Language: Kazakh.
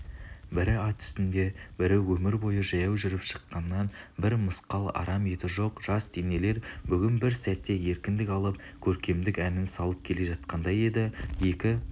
бірі ат үстінде бірі өмір бойы жаяу жүріп шыныққан бір мысқал арам еті жоқ жас денелер бүгін бір сәтке еркіндік алып көркемдік әнін салып келе жатқандай еді екі